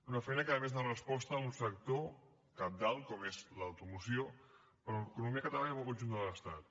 una feina que a més dona resposta a un sector cabdal com és l’automoció per a l’economia catalana i per al conjunt de l’estat